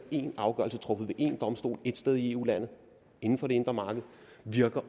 én afgørelse truffet ved én domstol ét sted i eu landene inden for det indre marked